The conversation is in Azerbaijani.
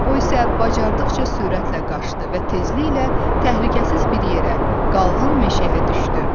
O isə bacardıqca sürətlə qaçdı və tezliklə təhlükəsiz bir yerə, qalın meşəyə düşdü.